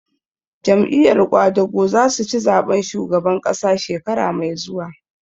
Jam'iyar ƙwadago za su ci zaɓen shugaban ƙasa shekara mai zuwa